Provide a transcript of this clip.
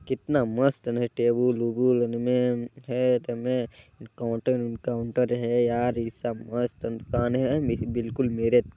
कितना मस्त है ना टेबुल वोबुल उनमें खेत में काउंटर है यार ऐसा मस्त दुकान है बिलकुल मेरे--